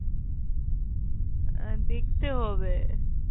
আহ দেখতে হবে।